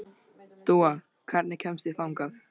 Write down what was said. Dúa, hvernig kemst ég þangað?